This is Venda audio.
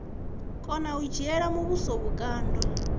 kona u dzhiela muvhuso vhukando